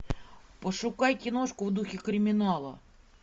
пошукай киношку в духе криминала